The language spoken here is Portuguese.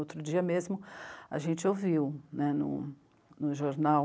Outro dia mesmo a gente ouviu né, no no jornal